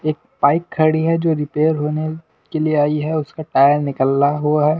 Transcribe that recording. एक बाइक खड़ी है जो रिपेयर होने के लिए आई है उसका टायर निकला हुआ है।